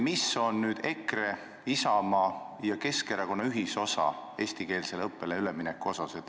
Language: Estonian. Mis on nüüd EKRE, Isamaa ja Keskerakonna ühisosa eestikeelsele õppele ülemineku otsustamisel?